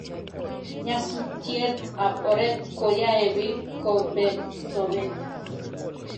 nyasutiet ab oret ko yae piik ko pet sobet